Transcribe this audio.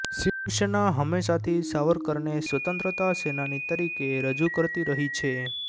શિવસેના હંમેશાથી સાવરકરને સ્વતંત્રતા સેનાની તરીકે રજુ કરતી રહી છે